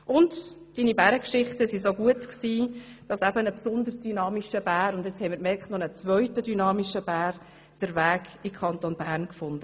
Und deine Bärengeschichten waren so gut, dass jetzt ein besonders dynamischer Bär – und gerade haben wir gemerkt, auch noch ein zweiter dynamischer Bär – den Weg in den Kanton Bern fand.